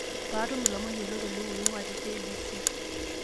paatum ilomon yiolot oleng oing'uaa te k.b.c